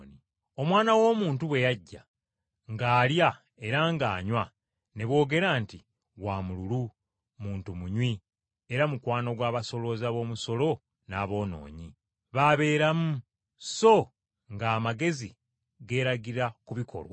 Omwana w’Omuntu, bwe yajja ng’alya era ng’anywa, ne boogera nti, ‘Wa mululu, muntu munywi, era mukwano gw’abasolooza b’omusolo n’aboonoonyi. B’abeeramu!’ So nga amagezi geeragira mu bikolwa.”